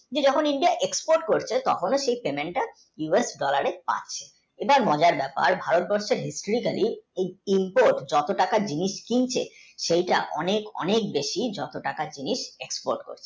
যখন India export করছে সেই payment তা US dollar এ পায় আর মজার ব্যাপার ভারতবর্ষের যত টাকা বিদেশ থেকে সেটা অনেক অনেক বেশি যেটা export করে।